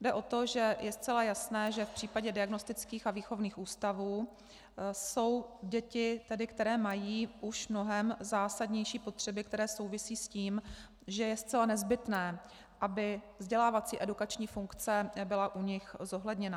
Jde o to, že je zcela jasné, že v případě diagnostických a výchovných ústavů jsou děti, které mají už mnohem zásadnější potřeby, které souvisejí s tím, že je zcela nezbytné, aby vzdělávací edukační funkce byla u nich zohledněna.